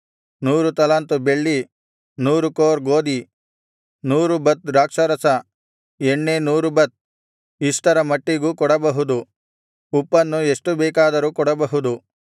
ನೂರು ತಲಾಂತು ಬೆಳ್ಳಿ ನೂರು ಕೋರ್ ಗೋದಿ ನೂರು ಬತ್ ದ್ರಾಕ್ಷಾರಸ ಎಣ್ಣೆ ನೂರು ಬತ್ ಇಷ್ಟರ ಮಟ್ಟಿಗೂ ಕೊಡಬಹುದು ಉಪ್ಪನ್ನು ಎಷ್ಟು ಬೇಕಾದರೂ ಕೊಡಬಹುದು